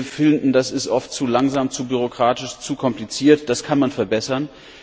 Wir finden, das ist oft zu langsam, zu bürokratisch, zu kompliziert, das kann man verbessern.